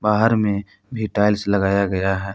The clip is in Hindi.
बाहर में भी टाइल्स लगाया गया है।